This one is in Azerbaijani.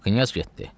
Knyaz getdi.